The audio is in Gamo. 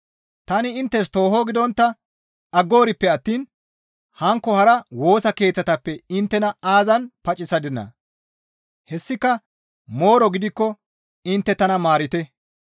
Tani inttes tooho gidontta aggoorippe attiin hankko hara Woosa Keeththatappe inttena aazan paccisadinaa? Hessika mooro gidikko intte tana maarite.